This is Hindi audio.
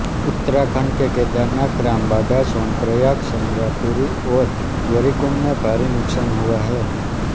उत्तराखंड के केदारनाथ रामबाड़ा सोनप्रयाग चंद्रापुरी और गौरीकुंड में भारी नुकसान हुआ है